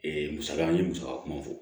musaka an ye musaka kuma fɔ